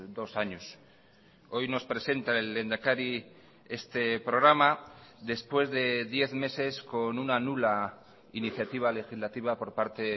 dos años hoy nos presenta el lehendakari este programa después de diez meses con una nula iniciativa legislativa por parte